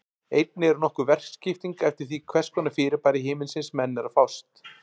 Einnig er nokkur verkaskipting eftir því við hvers konar fyrirbæri himinsins menn eru að fást.